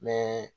Mɛ